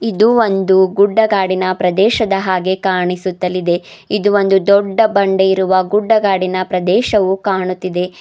ಇದು ಒಂದು ಗುಡ್ಡಗಾಡಿನ ಪ್ರದೇಶದ ಹಾಗೆ ಕಾಣಿಸುತ್ತಲಿದೆ ಇದು ಒಂದು ದೊಡ್ಡ ಬಂಡೆ ಇರುವ ಗುಡ್ಡಗಾಡಿನ ಪ್ರದೇಶವು ಕಾಣುತ್ತಿದೆ.